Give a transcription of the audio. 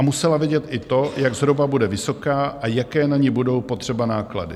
A musela vědět i to, jak zhruba bude vysoká a jaké na ni budou potřeba náklady.